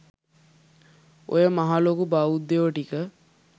ඔය මහ ලොකු බෞද්ධයො ටික